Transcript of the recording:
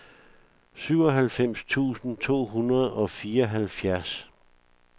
syvoghalvfems tusind to hundrede og fireoghalvfjerds